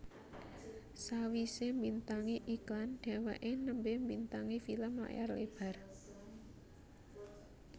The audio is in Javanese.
Sawisé mbintangi iklan dheweké nembe mbintangi film layar lebar